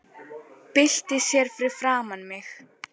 Byltir sér fyrir framan mig.